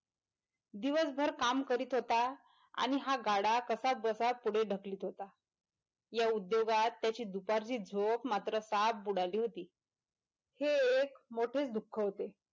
दिवसभर काम करीत होता आणि हा गाडा कसा जसा पुढे ढकलीत होता या उद्योगात त्याची दुपारची झोप मात्र साफ बुडाली होती हे एक मोठेच दुःख होते.